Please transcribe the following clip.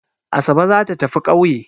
Asabe za ta tafi ƙauye.